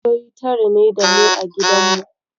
Ƴaƴan kishiyoyi tara ne da mu a gidanmu.